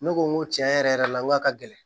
Ne ko n ko tiɲɛ yɛrɛ yɛrɛ la ŋo a ka gɛlɛn